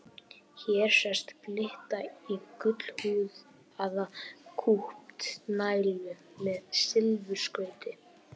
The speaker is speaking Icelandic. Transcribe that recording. Hér sést glitta í gullhúðaða kúpta nælu með silfurskrauti.